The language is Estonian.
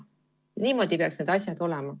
Niimoodi peaks need asjad olema.